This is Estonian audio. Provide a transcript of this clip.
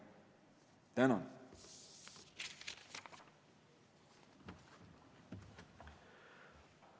Tänan!